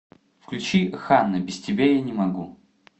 включи ханна без тебя я не могу